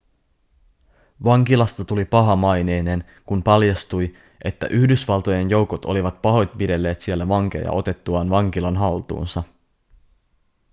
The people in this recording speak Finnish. vankilasta tuli pahamaineinen kun paljastui että yhdysvaltojen joukot olivat pahoinpidelleet siellä vankeja otettuaan vankilan haltuunsa